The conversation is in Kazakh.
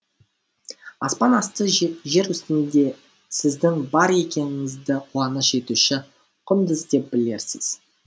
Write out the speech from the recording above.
аспан асты жер үстінде сіздің бар екеніңізді қуаныш етуші құндыз деп білерсіз